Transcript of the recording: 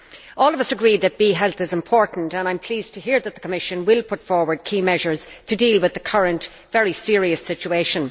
All of us agree that bee health is important, and I am pleased to hear that the Commission will put forward key measures to deal with the current, very serious situation.